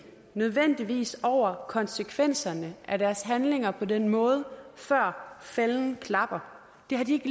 nødvendigvis over konsekvenserne af deres handlinger på den måde før fælden klapper det har de